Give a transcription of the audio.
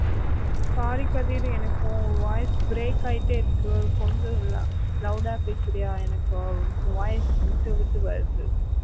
sorry Kathir எனக்கு உன் voice break ஆயிட்டே இருக்கு எனக்கு கொஞ்சம் loud அ பேசுறியா எனக்கு உன் voice விட்டு விட்டு வருது.